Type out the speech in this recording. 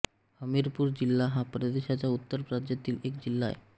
हमीरपूर जिल्हा हा भारताच्या उत्तर प्रदेश राज्यातील एक जिल्हा आहे